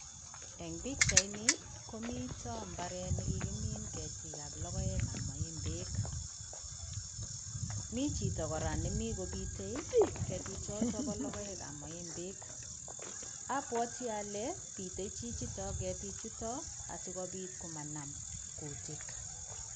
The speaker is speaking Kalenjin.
En pichaini komitoo mbaret nekikimin ketikab logoekab moembek michito kora nemikopite ketichotok bo logoekab moembek abwati ale pite chichotok ketichutok asikopit komanam kutik.